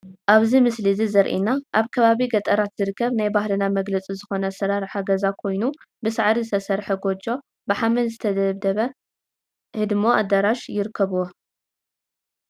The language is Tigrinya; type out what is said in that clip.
ኣብዚ ምስሊ እዚ ዘሪኤና ኣብ ከባቢ ገጠራት ዝርከብ ናይ ባህልና መግለፂ ዝኾነ ኣሰራርሓ ገዛ ኮይኑ ብሳዕሪ ዝተሰርሐ ጎጆ፣ ብሓመድ ዝተደብደበ ህድሞን ኣዳራሽን ይርከብዎ፡፡